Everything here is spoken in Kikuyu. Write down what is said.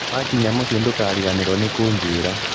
Wakinya mũciĩ ndũkariganĩrũo nĩ kũnjĩra.